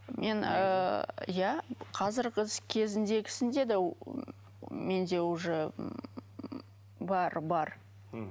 мен ыыы иә қазіргі кезіндегісінде де менде уже м бар бар мхм